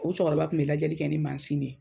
O cɛkɔrɔba kun bɛ lajɛli kɛ ni de ye